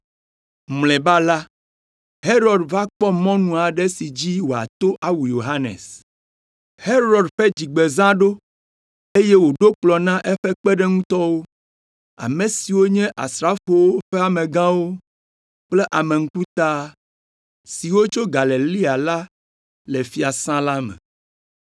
Mlɔeba la, Herod va kpɔ mɔnu aɖe si dzi wòato awu Yohanes. Herod ƒe dzigbezã ɖo, eye wòɖo kplɔ̃ na eƒe kpeɖeŋutɔwo, ame siwo nye asrafowo ƒe amegãwo kple ame ŋkuta, siwo tso Galilea la le fiasã la me.